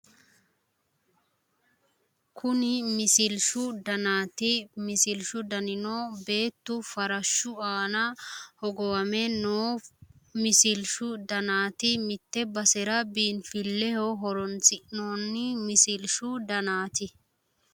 Kuni misilshu danaati. Misilshu danino beettu farshshu aana hogowame noo misilshshu danaati. Mitte basera biinfilleho horonsi'noonnni misilshshu danaati.